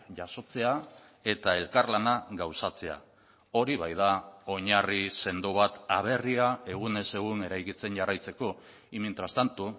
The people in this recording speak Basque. jasotzea eta elkarlana gauzatzea hori baita oinarri sendo bat aberria egunez egun eraikitzen jarraitzeko y mientras tanto